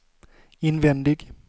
invändig